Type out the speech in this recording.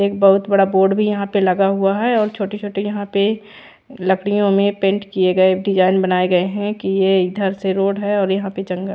एक बहुत बड़ा बोर्ड भी यहाँ पे लगा हुआ है और छोटे छोटे यहाँ पे लकड़ियों में पैंट किये गए डिजाइन बनाये गए है की इधर से रोड है और यहाँ पे चंगा--